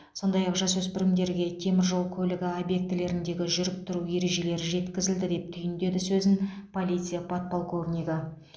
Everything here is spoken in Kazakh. сондай ақ жасөспірімдерге темір жол көлігі объектілеріндегі жүріп тұру ережелері жеткізілді деп түйіндеді сөзін полиция подполковнигі